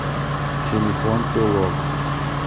телефон чулок